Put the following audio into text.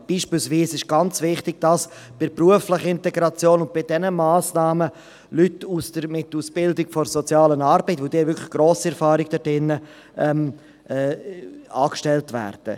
Es ist beispielsweise ganz wichtig, dass für die berufliche Integration, für diese Massnahmen Leute mit Ausbildung in der sozialen Arbeit – sie haben darin wirklich grosse Erfahrung – angestellt werden.